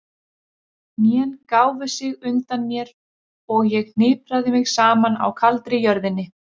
Hnén gáfu sig undan mér og ég hnipraði mig saman á kaldri jörðinni.